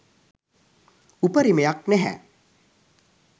උපරිමයක් නැහැ.